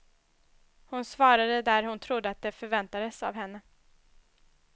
Hon svarade där hon trodde att det förväntades av henne.